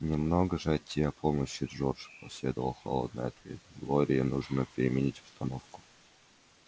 немного же от тебя помощи джордж последовал холодный ответ глории нужно переменить обстановку